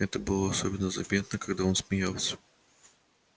это было особенно заметно когда он смеялся